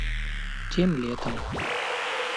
тем летом